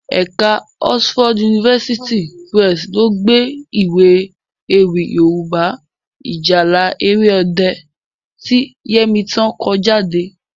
Ẹ̀ka Oxford University Press lo gbé Iwé ewì Yorùbá 'Ìjálá Èrè Ọdẹ' ti Yẹmítán ko jade